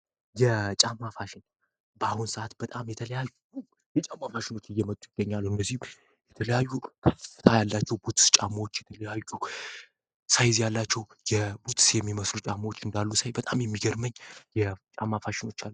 የጫማ ፋሽን በአሁኑ ሰአት በጣም የተለያዩ የጫማ ፋሽን እየመጡ ይገኛሉ። እነዚህም የተለያዩ ከፍታ ያላቸው ቡትስ ጫማዎች ፣የተለያዩ ሳይዝ ያላቸው ቡትስ የሚመስሉ ጫማዎችን ሳይ በጣም የሚገርመኝ የጫማ ፋሽኖች አሉ።